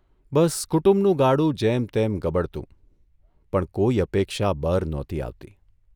બસ કુટુંબનું ગાડુ જેમતેમ ગબડતું, પણ કોઇ અપેક્ષા બર નહોતી આવતી.